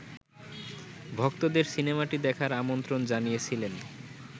ভক্তদের সিনেমাটি দেখার আমন্ত্রণ জানিয়েছিলেন